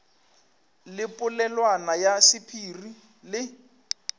le polelwana ya sephiri le